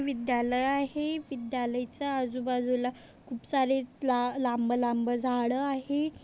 विद्यालय आहे विद्यालयचा आजूबाजूला खूपसारे ला लांभ-लांभ झाड आहे.